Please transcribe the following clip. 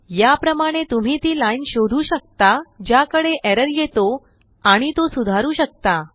या प्रमाणे तुम्ही ती लाइन शोधूशकता ज्याकडे एरर येतो आणि तो सुधारू शकता